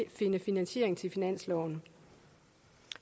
finde finansiering til finansloven